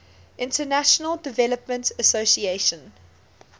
international development association